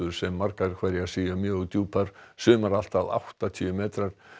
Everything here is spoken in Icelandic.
sem margar hverjar séu mjög djúpar sumar allt að áttatíu metrar